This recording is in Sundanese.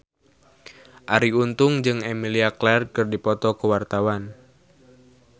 Arie Untung jeung Emilia Clarke keur dipoto ku wartawan